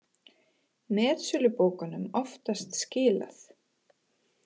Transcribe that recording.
Metsölubókunum oftast skilað